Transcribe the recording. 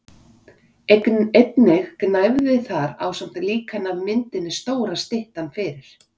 Einnig gnæfði þar ásamt líkani af myndinni stóra styttan fyrir